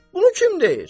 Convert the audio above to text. Bunu kim deyir?